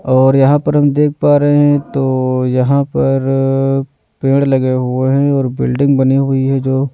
और यहां पर हम देख पा रहे हैं तो यहां पर पेड़ लगे हुए हैं और बिल्डिंग बनी हुई है जो--